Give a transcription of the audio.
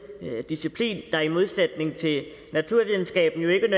disciplin der i modsætning til naturvidenskaben ikke